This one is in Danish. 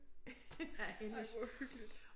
Af hendes